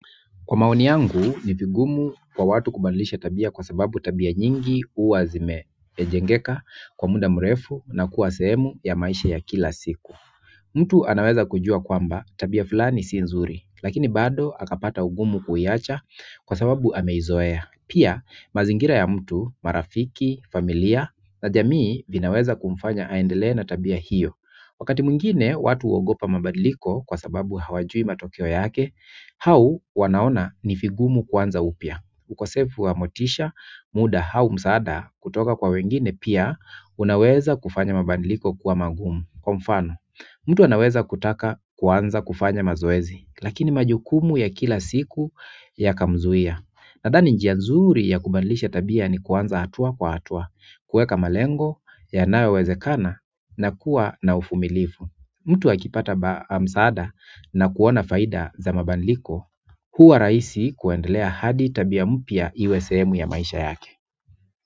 Kwa maoni yangu, ni vigumu kwa watu kubadilisha tabia kwa sababu tabia nyingi huwa zime jengeka kwa muda mrefu na kuwa sehemu ya maisha ya kila siku. Mtu anaweza kujua kwamba tabia fulani si nzuri, lakini bado akapata ugumu kuiacha kwa sababu ameizoea. Pia, mazingira ya mtu, marafiki, familia, na jamii vinaweza kumfanya aendelee na tabia hiyo. Wakati mwingine watu huogopa mabadiliko kwa sababu hawajui matokeo yake, au wanaona ni vigumu kuanza upia ukosefu wa motisha muda au msaada kutoka kwa wengine pia unaweza kufanya mabadiliko kuwa magumu kwa mfano, mtu anaweza kutaka kuanza kufanya mazoezi, lakini majukumu ya kila siku yakamzuia. Nadhani njia nzuri ya kubadilisha tabia ni kuanza hatua kwa hatua, kueka malengo, yanayowezekana, na kuwa na uvumilivu. Mtu akipata msaada na kuona faida za mabadiliko, huwa raisi kuendelea hadi tabia mpia iwe sehemu ya maisha yake.